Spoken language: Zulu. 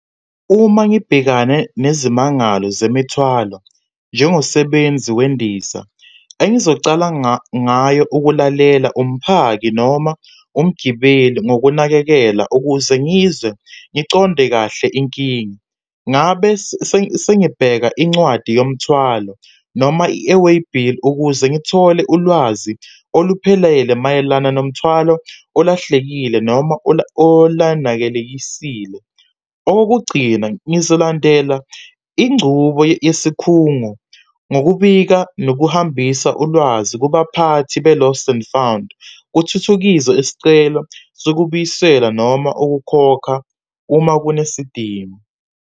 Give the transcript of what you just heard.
Uma ngibhekane nezimangalo zemithwalo njengosebenzi wendiza, engizocala ngayo ukulalela umphaki noma umgibeli ngokunakekela, ukuze ngizwe ngiqonde kahle inkinga. Ngabe sengibheka incwadi yomthwalo noma i-airway bill ukuze ngithole ulwazi oluphelele mayelana nomthwalo olahlekile, noma olanakelekisile. Okokugcina, ngizolandela ingcubo yesikhungo ngokubika nokuhambisa ulwazi kubaphathi be-lost and found, kuthuthukizwe isicelo sokubuyisela noma ukukhokha uma kunesidingo.